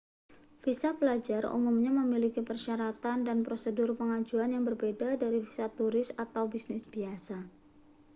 visa pelajar umumnya memiliki persyaratan dan prosedur pengajuan yang berbeda dari visa turis atau bisnis biasa